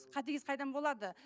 қатыгез қайдан болады